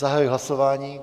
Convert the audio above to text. Zahajuji hlasování.